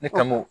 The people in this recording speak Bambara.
Ne ka mo